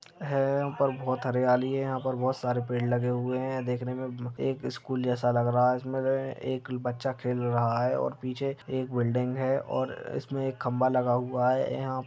है यहाँ बहुत हरियाली है यहाँ पर बहुत सारे पेड़ लगे हुआ है देखने मे एक स्कूल जैसा लग रहा है जिसमे एक बच्चा खेल रहा है और पीछे एक बिल्डिंग है और इसमे एक खंबा लगा हुआ है। यहां --